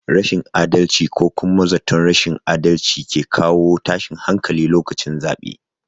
Rashin adalci ko kuma zaton rashin adalci ke kawo tashin hankali lokacin zaɓe